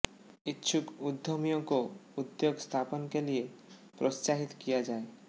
इच्छुक उद्यमियों को उद्योग स्थापना के लिये प्रोत्साहित किया जाये